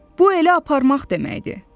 Bu elə aparmaq deməkdir.